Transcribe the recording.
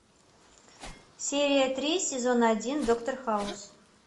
серия три сезон один доктор хаус